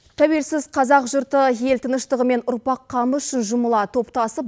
тәуелсіз қазақ жұрты ел тыныштығы мен ұрпақ қамы үшін жұмыла топтасып